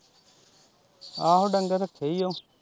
ਆਹੋ ਡੰਗਰ ਰੱਖੇ ਓ।